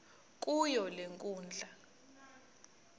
kuyo le nkundla